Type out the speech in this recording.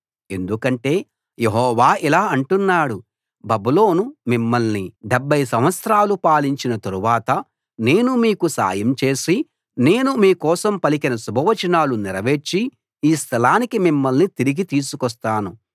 ఎందుకంటే యెహోవా ఇలా అంటున్నాడు బబులోను మిమ్మల్ని డెబ్భై సంవత్సరాలు పాలించిన తరువాత నేను మీకు సాయం చేసి నేను మీకోసం పలికిన శుభ వచనం నెరవేర్చి ఈ స్థలానికి మిమ్మల్ని తిరిగి తీసుకొస్తాను